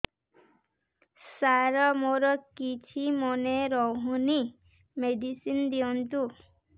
ସାର ମୋର କିଛି ମନେ ରହୁନି ମେଡିସିନ ଦିଅନ୍ତୁ